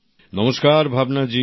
নমস্কার ভাবনা জি